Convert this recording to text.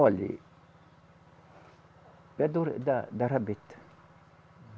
Olhe, é do re, da rabeta.